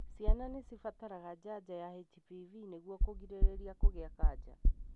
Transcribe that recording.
Ciana nĩ cibataraga janjo ya HPV nĩguo kũgirĩrĩria kũgĩa kanja.